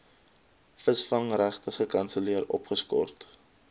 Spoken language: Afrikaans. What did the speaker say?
visvangregte gekanselleer opgeskort